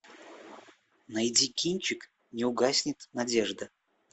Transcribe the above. найди кинчик не угаснет надежда